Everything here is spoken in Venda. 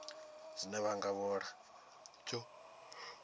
dzine vha nga vhala dzo